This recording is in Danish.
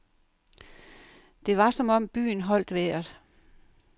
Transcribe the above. Det var som om byen holdt vejret.